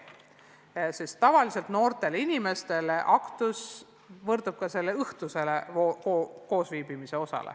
Tavaliselt tähendab aktus noortele inimestele ka seda õhtust koosviibimist.